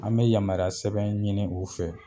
An bɛ yamariya sɛbɛn ɲini u fɛ